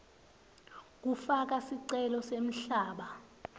kufaka sicelo semhlaba